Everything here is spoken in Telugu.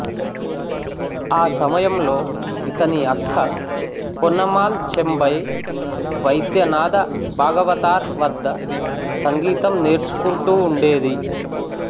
ఆ సమయంలో ఇతని అక్క పొన్నమ్మాళ్ చెంబై వైద్యనాథ భాగవతార్ వద్ద సంగీతం నేర్చుకుంటూ ఉండేది